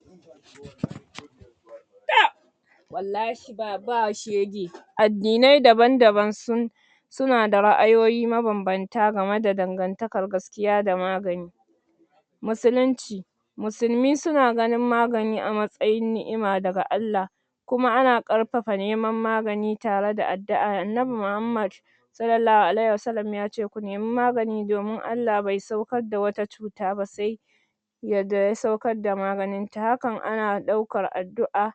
? Taɓ!? Wallahi,? ba, ba shege.? Addinai daban-daban sun,? su na da ra'ayoyi maban-banta game da dangantakar gaskiya da magani.? Musulunci.? Musulmi su na ganin magani a matsayin ni'ima daga Allah.? Kuma ana karfafa neman magani tare da addu'a. Annabi Muhammad,? sallallahu alaihi wasalam (S.A.W) ya ce ku nemi magani domin Allah bai saukar da wata cuta ba sai,? yadda ya saukar da maganinta. Hakan ana ɗaukar addu'a,?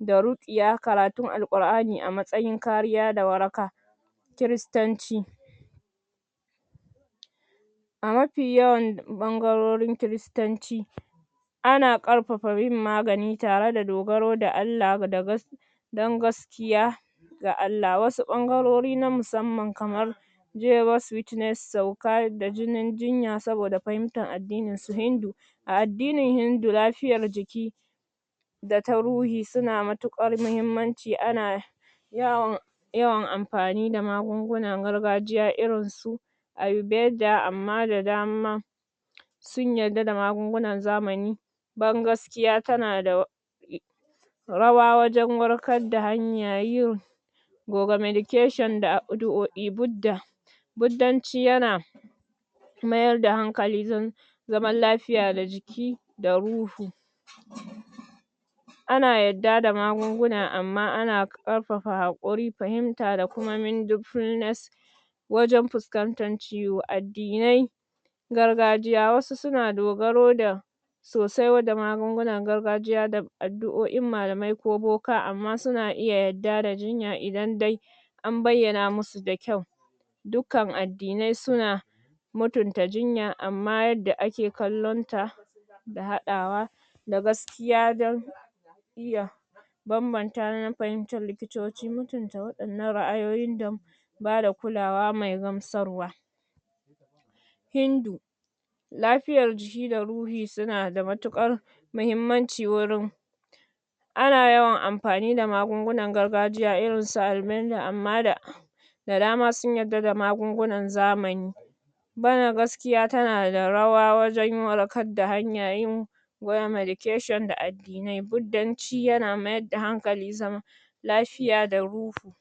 da ruƙiya, karatun alqur'ani a matsayin kariya da waraka.? Kiristanci.? A mafi yawan ɓangarorin kiristanci,? a na ƙarfafa yin magani tare da dogaro da Allah da gaski,? dan gaskiya,? ga Allah. Wasu ɓangarori na musamman kamar,? Jehover's witness, saukar da jinin jinya saboda fahimtar addinin su hindu.? A addinin hindu lafiyar jiki,? da ta ruhi su na matuƙar mahimmanci. A na,? yawan, yawan amfani da magungunan gargajiya irin su,? Amma da daman,? sun yadda da magungunan zamani.? Ban gaskiya ta na da,? rawa wajan warkar da hanya yin,??? Buddanci ya na,? mayar da hankali, zaman lafiya da jiki da ruhu.? A na yadda da magunguna, amma a na, ƙarafafa haƙuri, fahimta da kuma,?? wajan fuskantar ciwo. Addinai,? gargajiya, wasu su na dogaro da,? sosai da magungunan gargajiya da, addu'o'in malamai ko buka, amma su na iya yadda da jinya idan dai,? an bayyana musu da kyau.? Dukkan addinai su na,? mutanta jinya, ammah yadda a ke kallon ta,? da haɗawa,? da gaskiya don,? iya,? banbanta fahimtar likitoci, mutunta waɗan nan ra'ayoyin,? bada kulawa mai gamsarwa.? Hindu.? Lafiyar jiki da ruhi su na da matuƙar,? mahimmaci wurin.? a na yawan amfani da magungunan gargajiya irin su albenda amma da,? da dama sun yadda da magungunan zamani.?? Gaskiiya ta na da rawa da wajan warkar da hanya yin,?? Buddanci ya na mayar da hankali zaman,? lafiya da ruhu.?